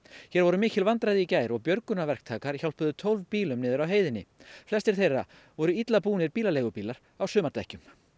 hér voru mikil vandræði í gær og hjálpuðu tólf bílum niður af heiðinni flestir þeirra voru illa búnir bílaleigubílar á sumardekkjum